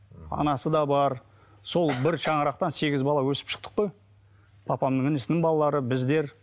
анасы да бар сол бір шаңырақтан сегіз бала өсіп шықтық қой папамның інісінің балалары біздер